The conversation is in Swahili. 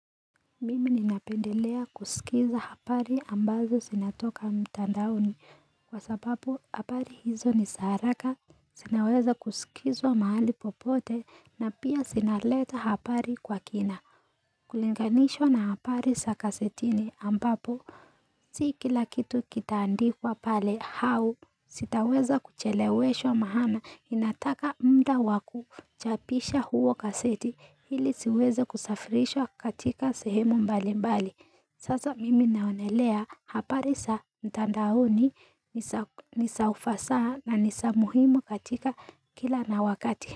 Mimi ninapendelea kusikiza hapari ambazo sinatoka mtandauni kwa sababu hapari hizo ni saraka, sinaweza kusikizwa mahali popote na pia sinaleta hapari kwa kina. Kulinganishwa na haparisa kasetini ambapo Si kila kitu kitaandikwa pale hau Sitaweza kucheleweshwa mahana Inataka mda wakuchapisha huo kaseti Hili siweza kusafirishwa katika sehemu mbali mbali Sasa mimi naonelea hapari sa mtandaoni ni sa ufasaha na nisa muhimu katika kila na wakati.